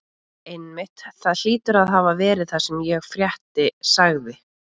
Einmitt, það hlýtur að hafa verið það sem ég frétti sagði